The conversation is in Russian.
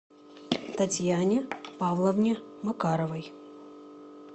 татьяне павловне макаровой